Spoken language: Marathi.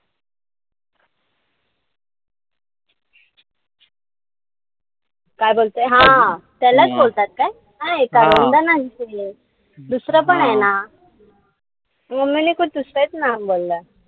काय बोलतेय? हा त्यालाच बोलतात काय? नाई करवंद नाई. दुसरं पण ए ना. .